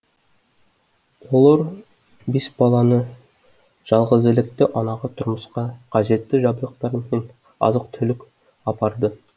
олар бесбалалы жалғызілікті анаға тұрмысқа қажетті жабдықтар мен азық түлік апарды